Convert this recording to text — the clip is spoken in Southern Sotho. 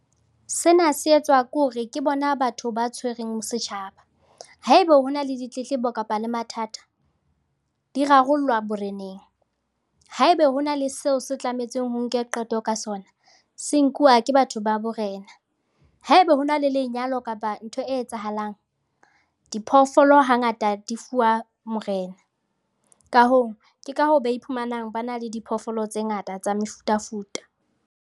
Sena se etswa ke hore ke bona batho ba tshwereng setjhaba. Haebe ho na le ditletlebo kapa le mathata di rarollwa boreneng, haebe ho na le seo se tlamehang ho nkwe qeto ka sona, se nkuwa ke batho ba borena. Haebe ho na le lenyalo kapa ntho e etsahalang, diphoofolo hangata di fuwa morena. Ka hoo, ke ka hoo ba iphumanang ba na le diphoofolo tse ngata tsa mefutafuta.